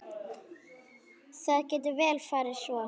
Það getur vel farið svo.